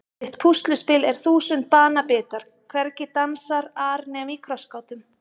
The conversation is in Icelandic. Mitt púsluspil er þúsund banabitar hvergi dansar ar nema í krossgátum